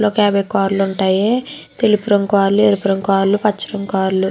ఒక యాభై కార్ లు ఉంటాయి తెలుపు రంగు కార్లు ఎరుపు రంగు కార్లు పచ్చ రంగు కార్లు.